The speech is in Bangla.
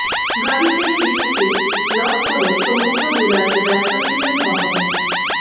গাড়িতে শিশুকে লক করে সমুদ্রবিলাসে ব্যস্ত ছিলেন বাবা মা